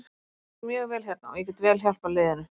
Mér líður mjög vel hérna og ég get vel hjálpað liðinu.